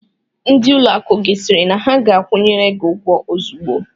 Ndị ụlọakụ gị sịrị na ha ga-akwụnyere gị ụgwọ ozugbo?